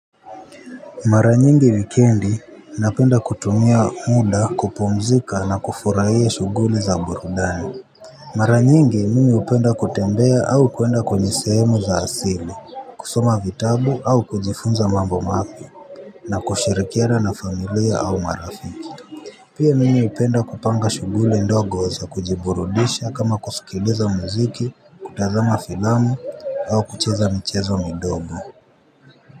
Maranyingi wikendi napenda kutumia muda kupumzika na kufurahia shuguli za burudani. Maranyingi mimi hupenda kutembea au kwenda kwenye sehemu za asili, kusoma vitabu au kujifunza mambo mapya na kushirikiana na familia au marafiki. Pia mimi upenda kupanga shuguli ndogo za kujiburudisha kama kusikiliza muziki, kutazama filamu au kucheza michezo midogo.